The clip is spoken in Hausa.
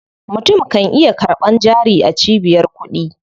Mutum kan iya karɓan jari a cibiyar kuɗi.